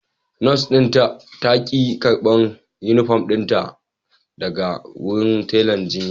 Nurse din ta ki karban Uniform dinta daga wurin tela jiya